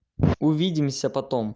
увидимся потом